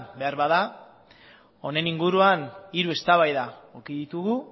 behar bada honen inguruan hiru eztabaida eduki ditugu